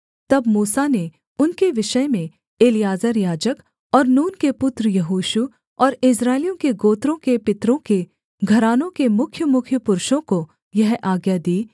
तब मूसा ने उनके विषय में एलीआजर याजक और नून के पुत्र यहोशू और इस्राएलियों के गोत्रों के पितरों के घरानों के मुख्यमुख्य पुरुषों को यह आज्ञा दी